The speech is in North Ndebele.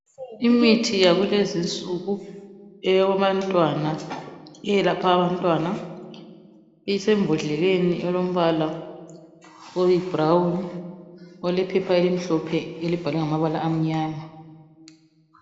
Imithi yakulezinsuku eyabantwana eyelapha abantwana isembodleleni elombala oyibrown olephepha elimhlophe elibhalwe ngamabala amnyama.